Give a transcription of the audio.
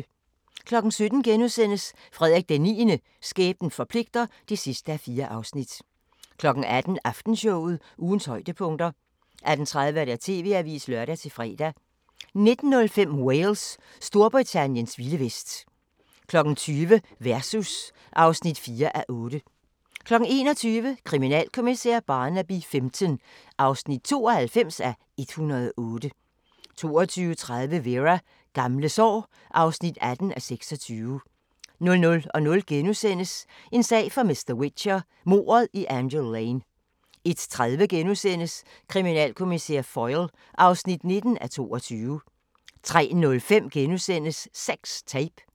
17:00: Frederik IX – skæbnen forpligter (4:4)* 18:00: Aftenshowet – ugens højdepunkter 18:30: TV-avisen (lør-fre) 19:05: Wales – Storbritanniens vilde vest 20:00: Versus (4:8) 21:00: Kriminalkommissær Barnaby XV (92:108) 22:30: Vera: Gamle sår (18:26) 00:00: En sag for mr. Whicher: Mordet i Angel Lane * 01:30: Kriminalkommissær Foyle (19:22)* 03:05: Sex Tape *